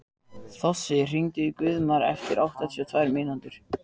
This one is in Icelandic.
Þossi, hringdu í Guðmar eftir áttatíu og tvær mínútur.